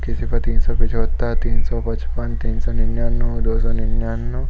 किसी पर तीन सौ पिचहतर तीन सौ पचपन तीन सौ निनानु दो सौ निनानु।